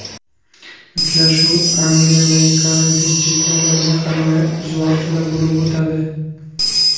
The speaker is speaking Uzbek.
Uchrashuv Angliyadagi karantin cheklovlariga qaramay o‘z vaqtida bo‘lib o‘tadi.